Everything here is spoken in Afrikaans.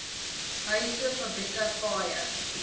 huise fabrieke paaie